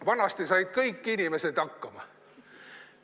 Vanasti said kõik inimesed hakkama.